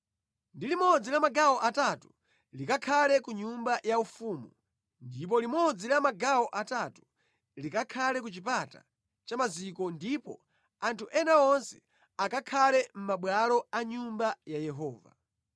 ndi limodzi la magawo atatu likakhale ku nyumba yaufumu ndipo limodzi la magawo atatu likakhale ku chipata cha Maziko ndipo anthu ena onse akakhale mʼmabwalo a Nyumba ya Yehova.